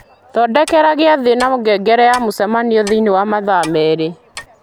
thondeka giathĩ na ngengere ya mũcemanio thĩinĩ wa mathaa merĩ